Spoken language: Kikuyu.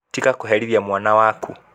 Tiga kũherithĩa mwana wakũ.